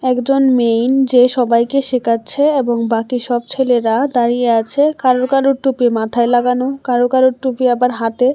একজন মেইন যে সবাইকে শেখাচ্ছে এবং বাকি সব ছেলেরা দাঁড়িয়ে আছে কারো কারো টুপি মাথায় লাগানো কারো কারো টুপি আবার হাতে।